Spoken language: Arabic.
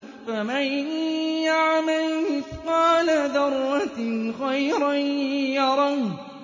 فَمَن يَعْمَلْ مِثْقَالَ ذَرَّةٍ خَيْرًا يَرَهُ